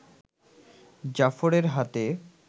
জাফরের হাতে